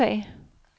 retssag